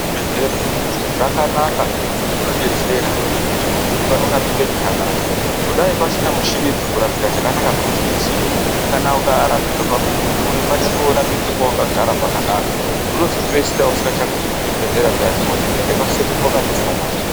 Zvibhedhlera zvakanaka ngekuti zvinodetsera kuti muntu orapike zvakanaka . Kudai pasina michinidzo kurapika zvakanaka kunoti netsei .Kana ukarapirwa pabuwe iwewe waifana korapirwe pawakagara zvakanaka unozopedzisira usingachagumi kuchibhedhleya kuya woti kuenda kwasekuru zvakandofanana.